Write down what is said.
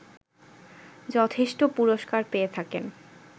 যথেষ্ট পুরস্কার পেয়ে থাকেন